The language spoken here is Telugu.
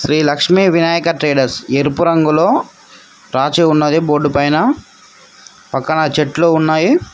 శ్రీ లక్ష్మీ వినాయక ట్రేడర్స్ ఎరుపు రంగులో రాచి ఉన్నది బోర్డు పైన పక్కన చెట్లు ఉన్నాయి.